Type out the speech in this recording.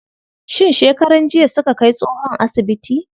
Shin shekaran jiya suka kai tsohon asibiti?